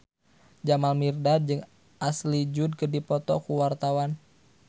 Jamal Mirdad jeung Ashley Judd keur dipoto ku wartawan